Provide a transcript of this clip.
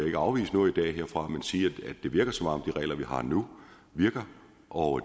ikke afvise noget i dag herfra men sige at det virker som om de regler vi har nu virker og